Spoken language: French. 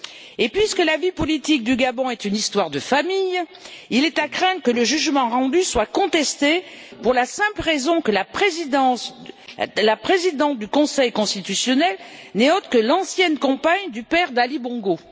Et puisque la vie politique du Gabon est une histoire de famille, il est à craindre que le jugement rendu soit contesté pour la simple raison que la présidente du Conseil constitutionnel n'est autre que l'ancienne compagne du père d'Ali Bongo.